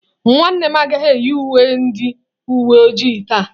Nwannem agaghi eyi uwe ndi uwe ojii ya taa.